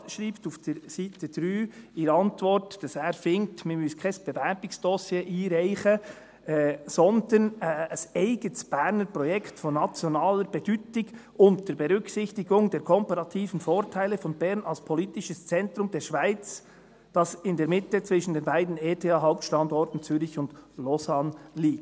Der Regierungsrat schreibt auf Seite 3 seiner Antwort, dass er findet, man müsse kein Bewerbungsdossier einreichen, sondern ein eigenes Berner Projekt von nationaler Bedeutung, «unter Berücksichtigung der komparativen Vorteile von Bern als politisches Zentrum der Schweiz, das in der Mitte zwischen den beiden ETH-Hauptstandorten Zürich und Lausanne liegt.